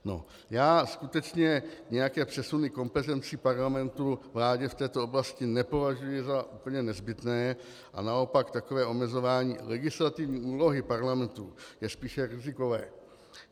Já skutečně nějaké přesuny kompetencí Parlamentu vládě v této oblasti nepovažuji za úplně nezbytné a naopak takové omezování legislativní úlohy Parlamentu je spíše rizikové.